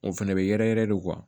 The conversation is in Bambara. O fɛnɛ bɛ yɛrɛ yɛrɛ de kuwa